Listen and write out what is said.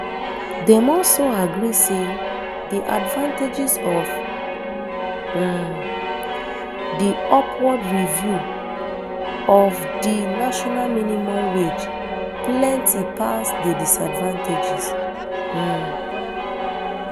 dem also agree say di advantages of um di upward review of of di national minimum wage plenty pass di disadvantages um